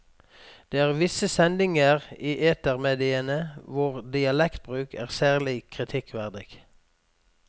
Det er visse sendinger i etermediene hvor dialektbruk er særlig kritikkverdig.